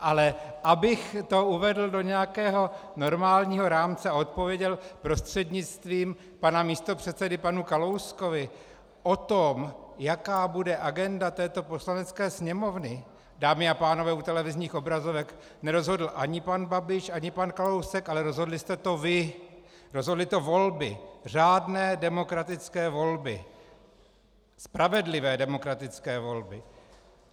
Ale abych to uvedl do nějakého normálního rámce a odpověděl prostřednictvím pana místopředsedy panu Kalouskovi: O tom, jaká bude agenda této Poslanecké sněmovny, dámy a pánové u televizních obrazovek, nerozhodl ani pan Babiš, ani pan Kalousek, ale rozhodli jste to vy, rozhodly to volby, řádné, demokratické volby, spravedlivé demokratické volby.